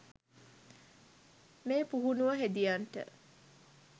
මේ පුහුණුව හෙදියන්ට